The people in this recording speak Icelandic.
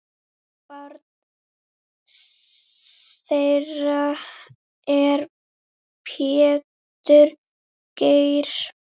Barn þeirra er Pétur Geir.